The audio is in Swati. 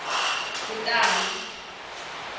kutali